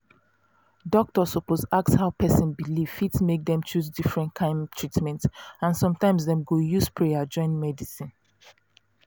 doctor suppose ask how person belief fit make dem choose different kyn treatment and sometimes dem go use prayer join medicine